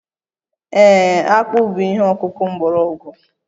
Ee, akpu bụ ihe ọkụkụ mgbọrọgwụ